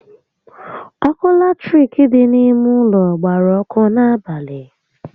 Ọkụ latirik dị n'ime ụlọ gbara ọkụ n'abalị